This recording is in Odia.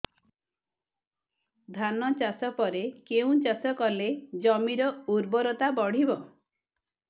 ଧାନ ଚାଷ ପରେ କେଉଁ ଚାଷ କଲେ ଜମିର ଉର୍ବରତା ବଢିବ